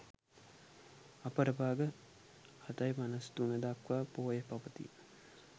අපර භාග 07.53 දක්වා පෝය පවතී.